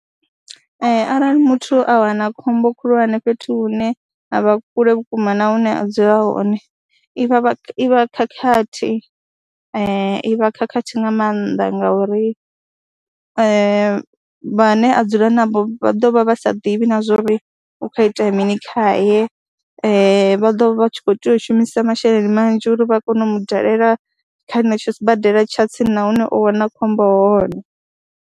Ee, arali muthu a wana khombo khulwane fhethu hune ha vha kule vhukuma na hune a dzula hone i vha i vha khakhathi i vha khakhathi nga maanḓa ngauri vhane a dzula navho vha ḓo vha vha sa ḓivhi na zwo ri hu khou itea mini khaye, vha ḓo vha tshi khou tea u shumisa masheleni manzhi uri vha kone u mu dalela kha henetsho sibadela tsha tsini na hune o wana khombo hone.